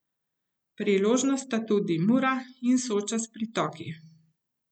Priložnost sta tudi Mura in Soča s pritoki.